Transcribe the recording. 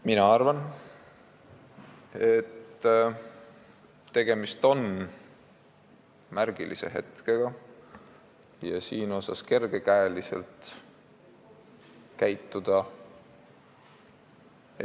Mina arvan, et tegemist on märgilise hetkega ja siin ei ole õige kergekäeliselt käituda.